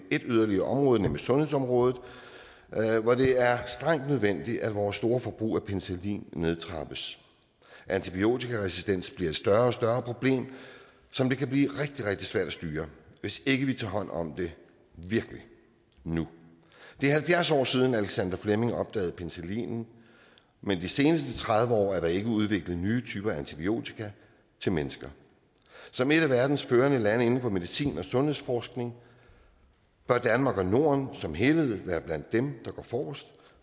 ét yderligere område nemlig sundhedsområdet hvor det er strengt nødvendigt at vores store forbrug af penicillin nedtrappes antibiotikaresistens bliver et større og større problem som det kan blive rigtig rigtig svært at styre hvis ikke vi virkelig tager hånd om det nu det er halvfjerds år siden at alexander fleming opdagede penicillinen men de seneste tredive år er der ikke udviklet nye typer af antibiotika til mennesker som et af verdens førende lande inden for medicin og sundhedsforskning bør danmark og norden som helhed være blandt dem der går forrest